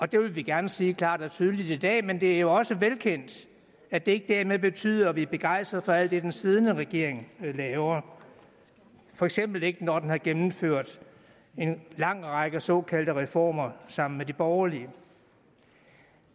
det vil vi gerne sige klart og tydeligt i dag men det er jo også velkendt at det ikke dermed betyder at vi er begejstrede for alt det den siddende regering laver for eksempel ikke når den har gennemført en lang række såkaldte reformer sammen med de borgerlige